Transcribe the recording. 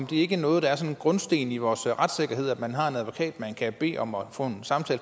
det ikke noget der er en grundsten i vores retssikkerhed at man har en advokat man kan bede om at få en